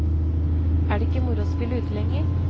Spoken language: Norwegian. Er det ikke moro å spille ute lenger?